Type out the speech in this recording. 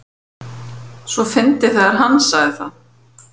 svo fyndið þegar HANN sagði það!